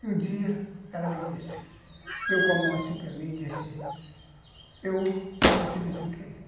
E um dia ela me disse... Deu com a mão assim para mim e disse... Eu vou te dizer o que é